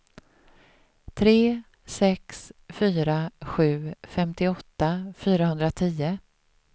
tre sex fyra sju femtioåtta fyrahundratio